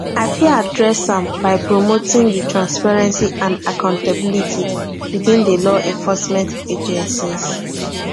i fit adress am by promoting di transparency and accountability within di law enforcement agencies